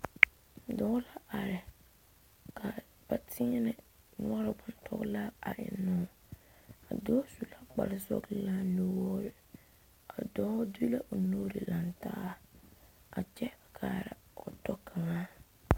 Dɔɔ la are ka teɛnɛ noɔre bontɔgelaa a ennoo a dɔɔ su la kpar sɔgelaa nuwoori a dɔɔ de la o nuure lantaa a kyɛ kaara o tɔ kaŋa